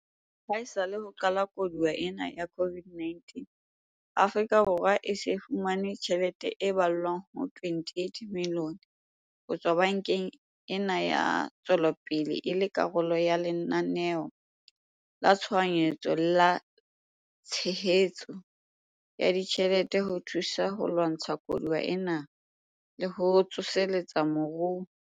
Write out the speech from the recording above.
Haesale ho qala koduwa ena ya COVID-19, Afrika Borwa e se e fumane tjhelete e ballwang ho R28 billione ho tswa bankeng ena ya Ntshetsopele e le karolo ya Lenaneo la Tshohanyetso la Tshehetso ya Ditjhelete ho thusa ho lwantsha koduwa ena le ho tsoseletsa moruo.